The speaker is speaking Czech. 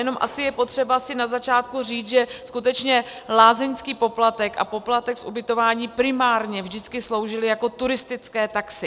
Jenom asi je potřeba si na začátku říct, že skutečně lázeňský poplatek a poplatek z ubytování primárně vždycky sloužily jako turistické taxy.